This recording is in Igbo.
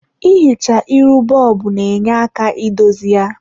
I hichaa iru bob na-nye aka idozi ya.